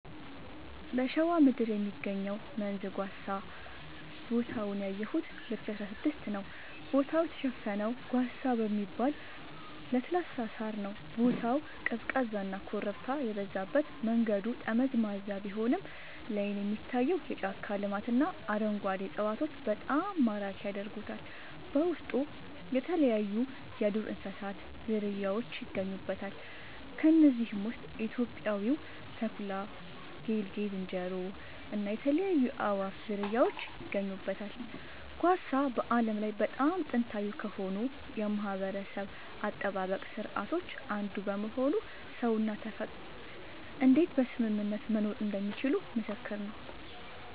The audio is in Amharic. በሸዋ ምድር የሚገኘው መንዝ ጓሳ ቦታውን ያየሁት 2016 ነዉ ቦታው የተሸፈነው ጓሳ በሚባል ለስላሳ ሳር ነዉ ቦታው ቀዝቃዛና ኮረብታ የበዛበት መንገዱ ጠመዝማዛ ቢሆንም ላይን የሚታየው የጫካ ልማትና አረንጓዴ እፅዋቶች በጣም ማራኪ ያደርጉታል በውስጡ የተለያይዩ የዱር እንስሳት ዝርያውች ይገኙበታል ከነዚህም ውስጥ ኢትዮጵያዊው ተኩላ ጌልጌ ዝንጀሮ እና የተለያዩ የአእዋፋት ዝርያወች ይገኙበታል። ጓሳ በዓለም ላይ በጣም ጥንታዊ ከሆኑ የማህበረሰብ አጠባበቅ ስርዓቶች አንዱ በመሆኑ ሰውና ተፈጥሮ እንዴት በስምምነት መኖር እንደሚችሉ ምስክር ነዉ